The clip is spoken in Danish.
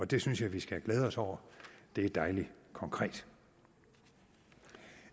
det synes jeg vi skal glæde os over det er dejligt konkret